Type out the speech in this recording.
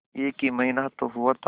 एक ही महीना तो हुआ था